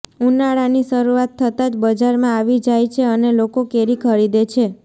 ઉનાળાની શરૂઆત થતા જ બજારમાં આવી જાય છે અને લોકો કેરી ખરીદે છે